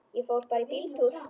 Ég fór bara í bíltúr.